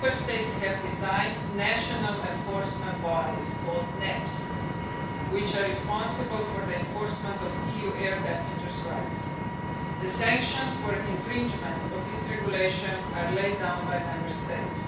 Member States have designed national enforcement body called NAPs, which are responsible for the enforcement of EU air passengers' rights. The sanctions for infringements of this regulation are laid down by Member States.